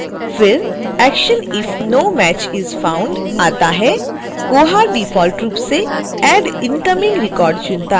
फिर action if no match is found आता है koha डिफॉल्ट रूप से add incoming record चुनता है